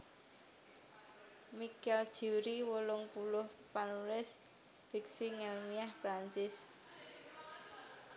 Michel Jeury wolung puluh panulis fiksi ngèlmiah Prancis